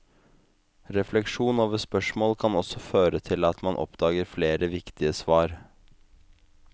Refleksjon over spørsmål kan også føre til at man oppdager flere viktige svar.